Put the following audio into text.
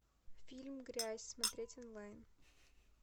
фильм грязь смотреть онлайн